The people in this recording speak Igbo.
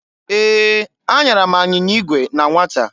Ee! Anyara m anyịnya igwe na nwata.